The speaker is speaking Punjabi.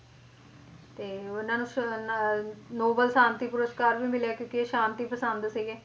ਤੇ ਉਹਨਾਂ ਨੂੰ ਨੋਬਲ ਸ਼ਾਂਤੀ ਪੁਰਸਕਾਰ ਵੀ ਮਿਲਿਆ ਕਿਉਂਕਿ ਇਹ ਸ਼ਾਂਤੀ ਪਸੰਦ ਸੀਗੇ